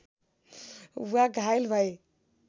वा घायल भए